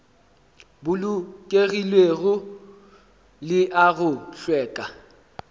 bolokegilego le a go hlweka